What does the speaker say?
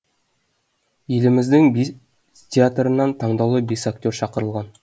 еліміздің бес театрынан таңдаулы бес актер шақырылған